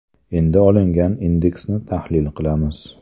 Endi olingan indeksni tahlil qilamiz.